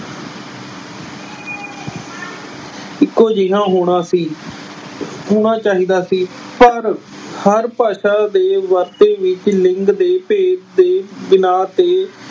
ਇਕੋ, ਇਕੋ ਜਿਹਾ ਹੋਣਾ ਸੀ। ਹੋਣਾ ਚਾਹੀਦਾ ਸੀ ਪਰ ਹਰ ਭਾਸ਼ਾ ਦੇ ਵਰਤੇ ਵਿੱਚ ਲਿੰਗ ਦੇ ਭੇਤ ਦੇ ਬਿਨਾਹ ਤੇ